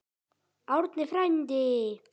Árni frændi!